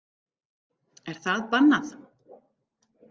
Er það bannað?